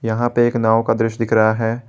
यहां पे एक नाव का दृश्य दिख रहा है।